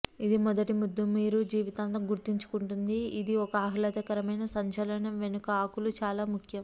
ఇది మొదటి ముద్దు మీరు జీవితాంతం గుర్తుంచుకుంటుంది ఇది ఒక ఆహ్లాదకరమైన సంచలనం వెనుక ఆకులు చాలా ముఖ్యం